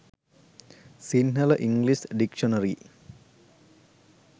sinhala english dictionary